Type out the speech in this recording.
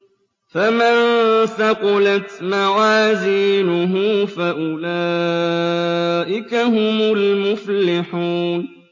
فَمَن ثَقُلَتْ مَوَازِينُهُ فَأُولَٰئِكَ هُمُ الْمُفْلِحُونَ